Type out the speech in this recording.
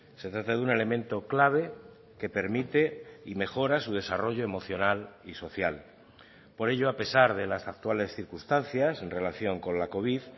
se trata de un elemento clave que permite y mejora su desarrollo emocional y social por ello a pesar de las actuales circunstancias en relación con la covid